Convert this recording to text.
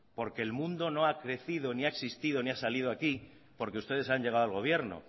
porque el mundo no ha crecido ni ha existido ni ha salido aquí porque ustedes hayan llegado al gobierno